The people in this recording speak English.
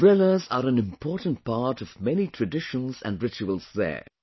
Umbrellas are an important part of many traditions and rituals there